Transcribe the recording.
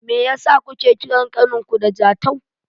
Meyasa kuke kiran ƙaninku da Jatau?